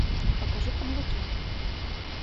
покажи каблуки